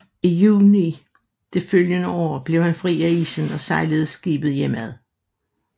I juni det følgende år blev han fri af isen og sejlede skibet hjemad